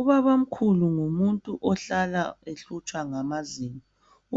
Ubabamkhulu ngumuntu ohlala ehlutshwa ngamazinyo